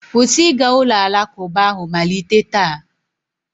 kwụsị ịga ụlọ alakụba ahụ malite taa!